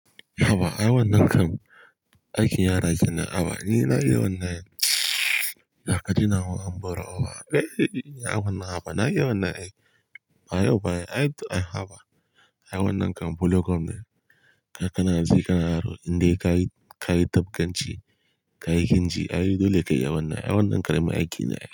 Haba, ai wannan kam aikin yara kenan. Haba, ni na iya wannan. Dakata nawon amburo. Haba ai, ai wannan. Haba na iya wannan ai. A yau fa ai. Ai, ai haba. Ai wannan kam bulo kom me. Ka kana ji, ka na ro. Indai ka yi, ka yi ganganci ci, ka yi kinji. Ai dole kayi wannan. Ai wannan karamin aiki ne.